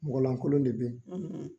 Mɔgɔlankolon de bɛ yen